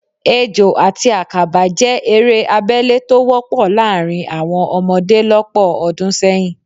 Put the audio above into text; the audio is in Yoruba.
Ejò àti àkàbà jẹ́ eré abẹ́lé tó wọ́pọ̀ láàrín àwọn ọmọdé lọ́pọ̀ ọdún sẹ́yìn